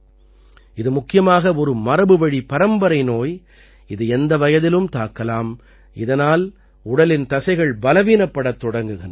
இது முக்கியமாக ஒரு மரபுவழி பரம்பரை நோய் இது எந்த வயதிலும் தாக்கலாம் இதனால் உடலின் தசைகள் பலவீனப்படத் தொடங்குகின்றன